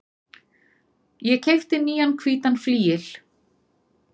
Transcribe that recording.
Ég keypti nýjan hvítan flygil.